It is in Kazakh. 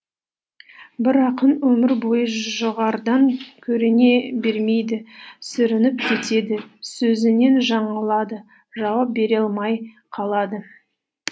бір ақын өмір бойы жоғарыдан көріне бермейді сүрініп кетеді сөзінен жаңылады жауап бере алмай қалады